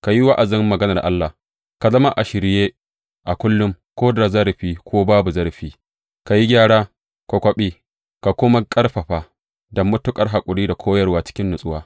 Ka yi wa’azin Maganar Allah, ka zama a shirye a kullum, ko da zarafi, ko babu zarafi, ka yi gyara, ka kwaɓe, ka kuma ƙarfafa, da matuƙar haƙuri da koyarwa cikin natsuwa.